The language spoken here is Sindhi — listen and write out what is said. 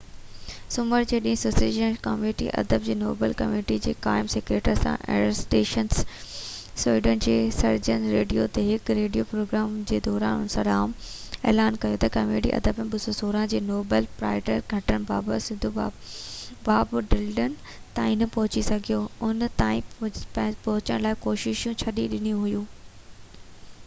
سومر جي ڏينهن سويڊش اڪيڊمي ۾ ادب جي نوبل ڪميونٽي جي قائم secretary Sara Danius Sweden ۾ Sveriges radio تي هڪ ريڊيو پروگرام جي دوران سرعام اعلان ڪيو تہ ڪميٽي ادب ۾ 2016 جي نوبل پرائز کٽڻ بابت سڌو باب ڊلن تائين نہ پهچي سگهي ان تائين پهچڻ لاءِ ڪوششون ڇڏي ڏنيون هيون